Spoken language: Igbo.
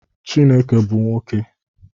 Chineke bu nwoke.